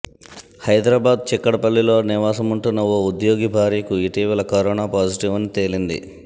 హైదరాబాద్ చిక్కడపల్లిలో నివాసముంటున్న ఓ ఉద్యోగి భార్యకు ఇటీవల కరోనా పాజిటివ్ అని తేలింది